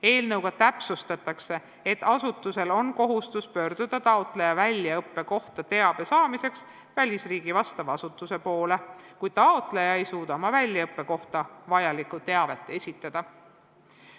Eelnõuga täpsustatakse, et asutusel on kohustus pöörduda taotleja väljaõppe kohta teabe saamiseks välisriigi vastava asutuse poole, kui taotleja ei suuda oma väljaõppe kohta vajalikku teavet esitada.